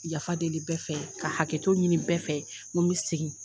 Yafa deli bɛ fɛ ka hakɛto ɲini bɛ fɛ ni n bɛ segin.